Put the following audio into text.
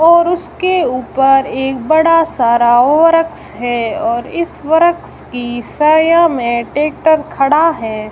और उसके ऊपर एक बड़ा सा राव वृक्ष है और इस वृक्ष की छाया में ट्रैक्टर खड़ा है।